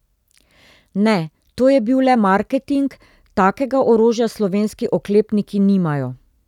Ne, to je bil le marketing, takega orožja slovenski oklepniki nimajo.